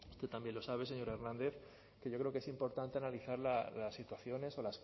usted también lo sabe señor hernández que yo creo que es importante analizar las situaciones o